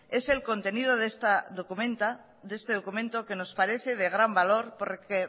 es el contenido de este documento que nos parece de gran valor porque